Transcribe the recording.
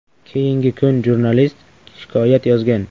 Keyingi kun jurnalist shikoyat yozgan.